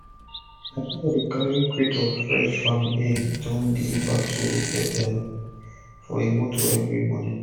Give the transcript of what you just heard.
my broda dey carry crate of fresh farm egg don deliver to hotel dem for e motor everi morning